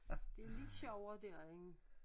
Det lidt sjovere dér end